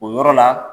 O yɔrɔ la